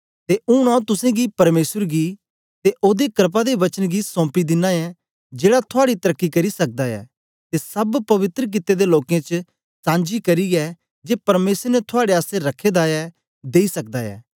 ते ऊन आंऊँ तुसेंगी परमेसर गी ते ओदे क्रपा दे वचन गी सौपी दिना ऐं जेड़ा थुआड़ी तरक्की करी सकदा ऐ ते सब पवित्र कित्ते दे लोकें च सांझी करियै जे परमेसर ने थुआड़े आसतै रखे दा ऐ देई सकदा ऐ